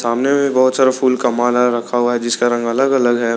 सामने में भी बहोत सारा फूल का माल रखा हुआ है जिसका रंग अलग अलग है।